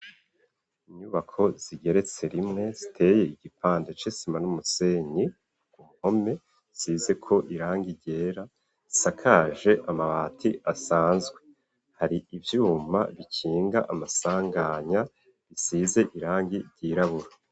Inyubako zigeretse rimwe ziteye igipande c'isima n'umusenyi ,uruhome rusizeko irangi ryera risakaje amabati asanzwe, hari ivyuma bikinga amasanganya bisize irangi ryirabura.